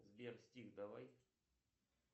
сбер стих давай